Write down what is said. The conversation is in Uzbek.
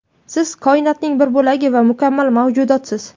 Siz koinotning bir bo‘lagi va mukammal mavjudotsiz.